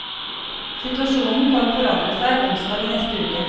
Situasjonen kan forandre seg onsdag i neste uke.